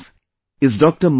With us is Dr